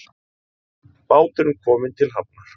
Báturinn kominn til hafnar